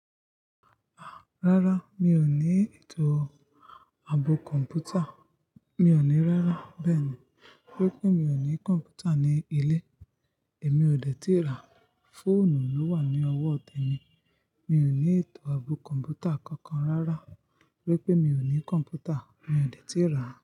Rárá, mi ò ní ètò ààbò Kọ̀m̀pútà. Mi ò ní rárá bẹ́ẹ̀ ni. Tori pé mi ò ní Kọ̀m̀pútà ní ilé èmi ò dètí rà. Fóònù ló wà ní ọwọ́ te mi. Mi ò ní ètò ààbò Kọ̀m̀pútà kankan rárá. Tori pé mi ò ní Kọ̀m̀pútà, mi ò dètí rà.